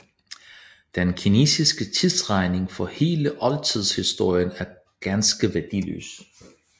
Den kinesiske tidsregning for hele oldtidshistorien er ganske værdiløs